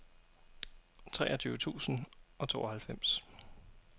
treogtyve tusind og tooghalvfems